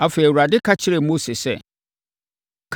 Afei, Awurade ka kyerɛɛ Mose sɛ,